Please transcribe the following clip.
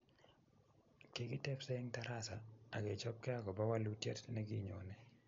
Kikitebse eng tarasa akechopkei akopa walutiet nekinyone